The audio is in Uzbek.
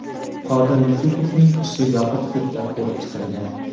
Qodir Yusupovning ishi yopiq sudda ko‘rib chiqilgan.